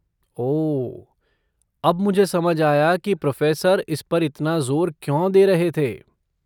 ओह, अब मुझे समझ आया कि प्रोफ़ेसर इस पर इतना जोर क्यों दे रहे थे।